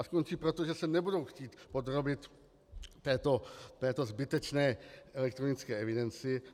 A skončí proto, že se nebudou chtít podrobit této zbytečné elektronické evidenci.